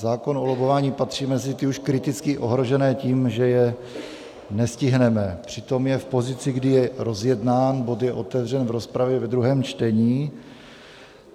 Zákon o lobbování patří mezi ty už kriticky ohrožené tím, že je nestihneme, přitom je v pozici, kdy je rozjednán, bod je otevřen v rozpravě ve druhém čtení.